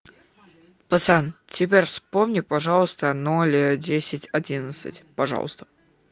пацан теперь вспомни пожалуйста ноль а десять одиннадцать пожалуйста